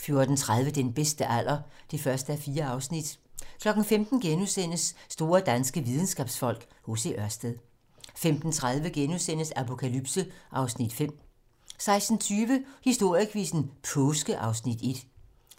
14:30: Den bedste alder (1:4) 15:00: Store danske videnskabsfolk: H.C. Ørsted * 15:30: Apokalypse (Afs. 5)* 16:20: Historiequizzen: Påske (Afs. 1)